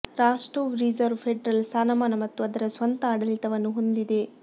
Rostov reserve federal ಸ್ಥಾನಮಾನ ಮತ್ತು ಅದರ ಸ್ವಂತ ಆಡಳಿತವನ್ನು ಹೊಂದಿದೆ